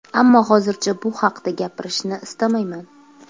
Ammo hozircha bu haqda gapirishni istamayman.